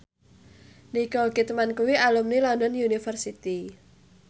Nicole Kidman kuwi alumni London University